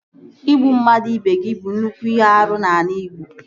Ịgbu mmadụ ibe gị bụ nnukwu ihe árú n'ala igbo